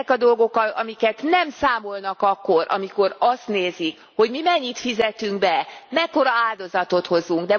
Ezek a dolgok, amiket nem számolnak akkor, amikor azt nézik, hogy mi mennyit fizetünk be, mekkora áldozatot hozunk.